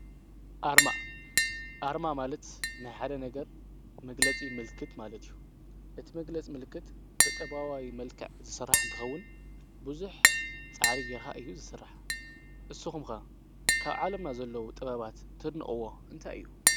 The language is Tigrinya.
ኣርማ፣ ኣርማ ማለት ናይ ሓደ ነገር መግለጺ ምልክት ማለት እዩ። እቲ መግለጽ ምልክት ብጠባዋዊ መልካዕ ዝሠራሕ እንተኸውን ብዙኅ ፃዕሪ ጌርካ እዩ ዝስራሕ። እስኹም ከ ካብ ዓለምና ዘለዉ ጥባባት ተድንቅዎ እንታይ እዩ?